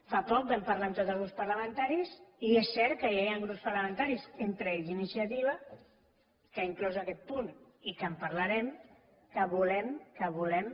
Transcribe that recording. fa poc vam parlar amb tots els grups parlamentaris i és cert que ja hi han grups parlamentaris entre ells iniciativa que ha inclòs aquest punt i que en parlarem que volem que volem